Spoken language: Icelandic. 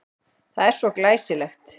Það er svo glæsilegt.